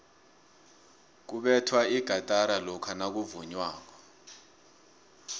kubethwa igatara lokha nakuvunywako